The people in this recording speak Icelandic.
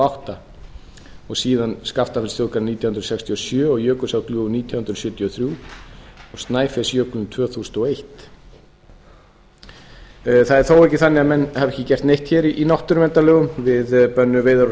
og átta síðan skaftafellsþjóðgarð árið nítján hundruð sextíu og sjö og jökulsárgljúfur nítján hundruð sjötíu og þrjú og snæfellsjökul tvö þúsund og eitt það er þó ekki þannig að menn hafi ekki gert neitt hér í náttúruverndarlögum við bönnuðum veiðar á